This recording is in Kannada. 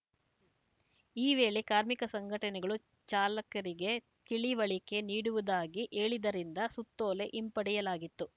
ಈ ವೇಳೆ ಕಾರ್ಮಿಕ ಸಂಘಟನೆಗಳು ಚಾಲಕರಿಗೆ ತಿಳಿವಳಿಕೆ ನೀಡುವುದಾಗಿ ಹೇಳಿದ್ದರಿಂದ ಸುತ್ತೋಲೆ ಹಿಂಪಡೆಯಲಾಗಿತ್ತು